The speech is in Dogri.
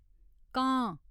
कांऽ